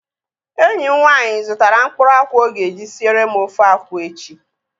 Enyi m nwaanyị zụtara mkpụrụ akwụ ọ ga-eji siere m ofe akwụ echi